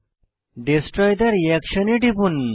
destroy the reaction এ টিপুন